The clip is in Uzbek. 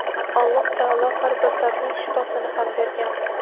Alloh taolo har bir dardning shifosini ham bergan.